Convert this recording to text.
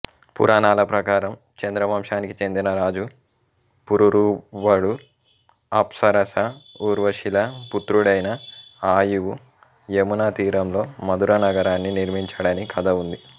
పురాణాల ప్రకారం చంద్రవంశానికి చెందిన రాజు పురూరవుడు అప్సరస ఊర్వశిల పుత్రుడైన ఆయువు యమునాతీరంలో మథురానగరాన్ని నిర్మించాడని కథ ఉంది